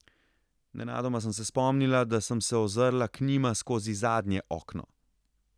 Nenadoma sem se spomnila, da sem se ozrla k njima skozi zadnje okno.